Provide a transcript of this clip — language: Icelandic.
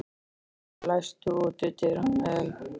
Elly, læstu útidyrunum.